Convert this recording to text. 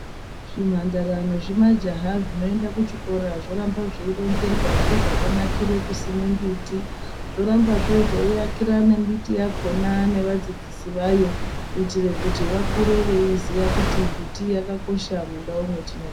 Zvimhandara nezvimajaha zvinoenda kuchikora, zvoramba zveironzerwa ngezvakanakire kusime mbiti. Zvorambazve zveiakira nembiti yakhona nevadzidzisi vayo, kuitire kuti vakure veiziya kuti mbiti yakakosha mundau mwetinobva.